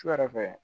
Su yɛrɛ fɛ